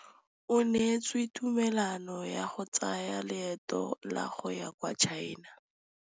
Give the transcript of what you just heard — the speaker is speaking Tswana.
O neetswe tumalanô ya go tsaya loetô la go ya kwa China.